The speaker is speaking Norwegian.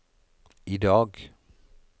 idag